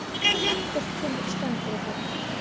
Ekkert kemur í staðinn fyrir þá.